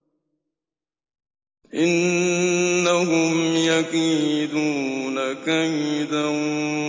إِنَّهُمْ يَكِيدُونَ كَيْدًا